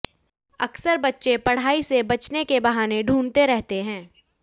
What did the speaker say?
अकसर बच्चे पढ़ाई से बचने के बहाने ढूंढ़ते रहते हैं